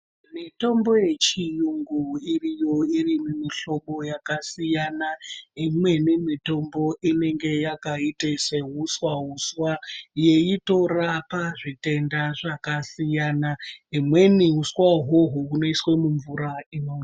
Mitombo yechiyungu iriyo irimumihlobo yakasiyana imweni mitombo inenge yakaite seuswa uswa yeitorapa zvitenda zvakasiyana imweni uswa uhwohwo hunoiswe mumvura inomwiwa.